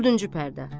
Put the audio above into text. Dördüncü pərdə.